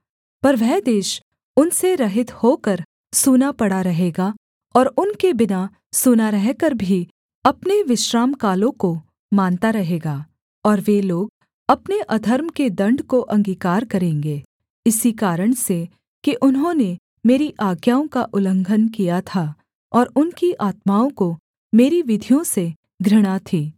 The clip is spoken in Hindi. पर वह देश उनसे रहित होकर सूना पड़ा रहेगा और उनके बिना सूना रहकर भी अपने विश्रामकालों को मानता रहेगा और वे लोग अपने अधर्म के दण्ड को अंगीकार करेंगे इसी कारण से कि उन्होंने मेरी आज्ञाओं का उल्लंघन किया था और उनकी आत्माओं को मेरी विधियों से घृणा थी